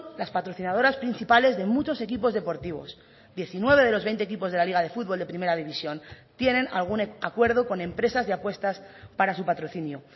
las patrocinadoras principales de muchos equipos deportivos diecinueve de los veinte equipos de la liga de futbol de primera división tienen algún acuerdo con empresas de apuestas para su patrocinio